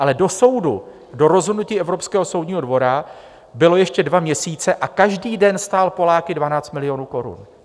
Ale do soudu, do rozhodnutí Evropského soudního dvora, byly ještě dva měsíce a každý den stál Poláky 12 milionů korun.